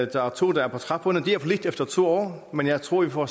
der er to der er på trapperne det er for lidt efter to år men jeg tror vi får